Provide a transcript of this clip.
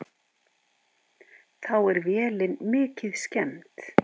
Þá er vélin mikið skemmd.